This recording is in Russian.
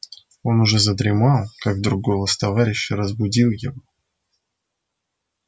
он уже задремал как вдруг голос товарища разбудил его